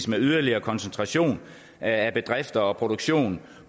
med yderligere koncentration af bedrifter og produktion